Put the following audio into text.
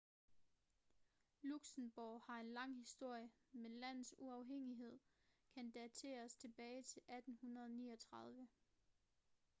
luxembourg har en lang historie men landets uafhængighed kan dateres tilbage til 1839